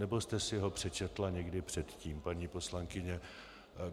Nebo jste si ho přečetla někdy předtím, paní poslankyně?